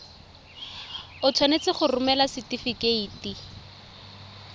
o tshwanetse go romela setefikeiti